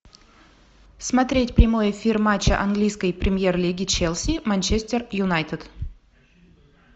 смотреть прямой эфир матча английской премьер лиги челси манчестер юнайтед